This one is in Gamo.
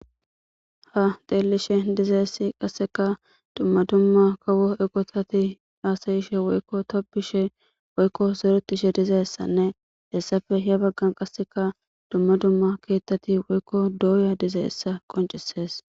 Ha deellishe dizeessi qasseka dumma dumma kawo eqotati aasayishe woykko tobishe woykko zerutishe dizeessanne hessape he baggan qasseka dumma dumma keettati woykko dooya dizeessa qoncisees.